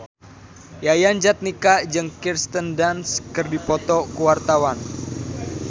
Yayan Jatnika jeung Kirsten Dunst keur dipoto ku wartawan